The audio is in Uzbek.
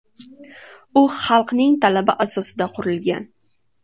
U xalqning talabi asosida qurilgan.